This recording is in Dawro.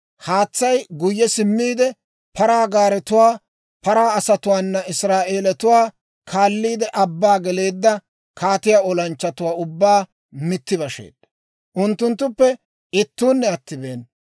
Haatsay guyye simmiide, paraa gaaretuwaa paraa asatuwaana Israa'eelatuwaa kaalliide abbaa geleedda kaatiyaa olanchchatuwaa ubbaa mitti basheedda; unttunttuppe ittuunne attibeena.